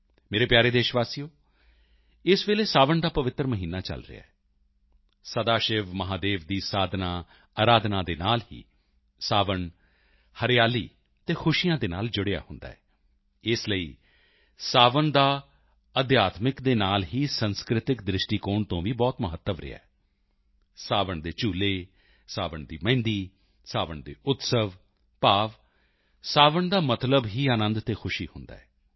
ਮੇਰੇ ਪਿਆਰੇ ਦੇਸ਼ਵਾਸੀਓ ਇਸ ਵੇਲੇ ਸਾਵਣ ਦਾ ਪਵਿੱਤਰ ਮਹੀਨਾ ਚਲ ਰਿਹਾ ਹੈ ਸਦਾਸ਼ਿਵ ਮਹਾਦੇਵ ਦੀ ਸਾਧਨਾਆਰਾਧਨਾ ਦੇ ਨਾਲ ਹੀ ਸਾਵਣ ਹਰਿਆਲੀ ਅਤੇ ਖੁਸ਼ੀਆਂ ਨਾਲ ਜੁੜਿਆ ਹੁੰਦਾ ਹੈ ਇਸ ਲਈ ਸਾਵਣ ਦਾ ਅਧਿਆਤਮਿਕ ਦੇ ਨਾਲ ਹੀ ਸਾਂਸਕ੍ਰਿਤਕ ਦ੍ਰਿਸ਼ਟੀਕੋਣ ਤੋਂ ਵੀ ਬਹੁਤ ਮਹੱਤਵ ਰਿਹਾ ਹੈ ਸਾਵਣ ਦੇ ਝੂਲੇ ਸਾਵਣ ਦੀ ਮਹਿੰਦੀ ਸਾਵਣ ਦੇ ਉਤਸਵ ਭਾਵ ਸਾਵਣ ਦਾ ਮਤਲਬ ਹੀ ਆਨੰਦ ਅਤੇ ਉੱਲਾਸ ਖੁਸ਼ੀ ਹੁੰਦਾ ਹੈ